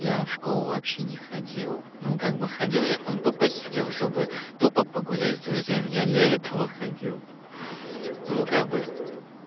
я в школу вообще не ходил но как бы ходил я там тупо сидел чтобы тупо погулять с друзьями я для этого ходил ну как бы